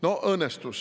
No õnnestus.